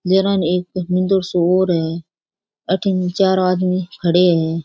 गेला ने मंदिर सो और है अठिन चार आदमी खड़े है।